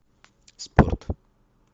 спорт